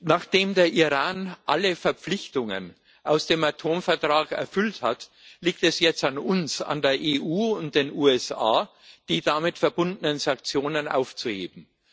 Nachdem der Iran alle Verpflichtungen aus dem Atomvertrag erfüllt hat, liegt es jetzt an uns an der EU und den USA die damit verbundenen Sanktionen aufzuheben.